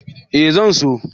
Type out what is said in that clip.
Eh zan so.